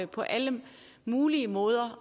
på alle mulige måder